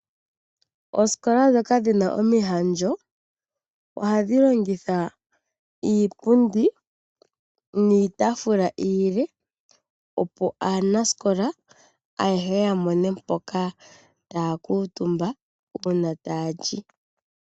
Oosikola ndhoka dhina omihandjo ohadhi longitha iipundi niitafula iile, opo aanasikola aehe yamone mpoka taya kuutumba uuna taya li.